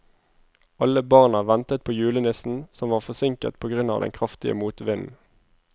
Alle barna ventet på julenissen, som var forsinket på grunn av den kraftige motvinden.